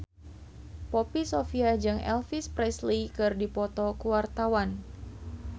Poppy Sovia jeung Elvis Presley keur dipoto ku wartawan